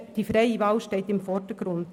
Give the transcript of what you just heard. Die freie Wahl steht im Vordergrund.